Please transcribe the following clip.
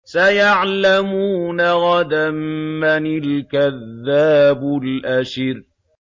سَيَعْلَمُونَ غَدًا مَّنِ الْكَذَّابُ الْأَشِرُ